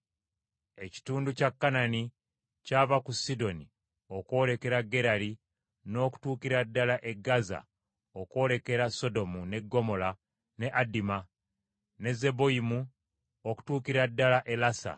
Ekitundu kya Kanani kyava ku Sidoni, okwolekera Gerali n’okutuukira ddala e Gaza okwolekera Sodomu, ne Ggomola, ne Aduma, ne Zeboyimu okutuukira ddala e Lasa.